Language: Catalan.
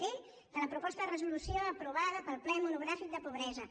d de la proposta de resolució aprovada pel ple monogràfic sobre la pobresa